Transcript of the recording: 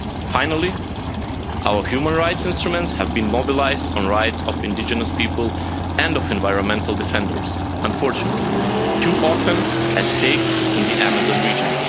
Finally, our human rights instruments have been mobilised on rights of indigenous people and of environmental defenders, unfortunately too often at stake in the Amazon region.